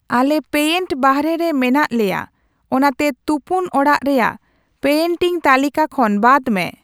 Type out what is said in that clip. ᱟᱞᱮ ᱯᱮᱭᱮᱱᱴ ᱵᱟᱦᱚᱨᱮᱨᱮ ᱢᱮᱱᱟᱜ ᱞᱮᱭᱟ ᱚᱱᱟᱛᱮ ᱛᱩᱯᱩᱱ ᱚᱲᱟᱜ ᱨᱮᱭᱟᱜ ᱯᱮᱭᱮᱱᱴᱤᱝ ᱛᱟᱹᱞᱤᱠᱟ ᱠᱷᱚᱱ ᱵᱟᱫ ᱢᱮ